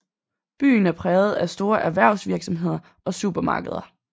Byen er præget af store erhvervsvirksomheder og supermarkeder